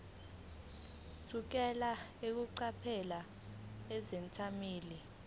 thukela eqaphela izethameli